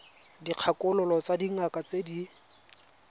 dikgakololo tsa dingaka tse di